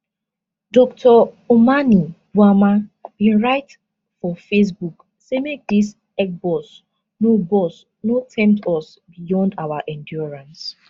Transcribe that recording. dr omane boamah bin write for facebook say make dis ec boss no boss no tempt us beyond our endurance